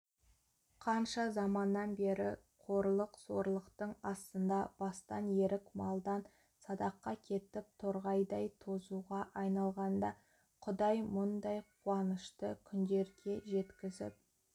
қанша заманнан бері қорлық-зорлықтың астында бастан ерік малдан садақа кетіп торғайдай тозуға айналғанда құдай мұндай қуанышты күндерге жеткізіп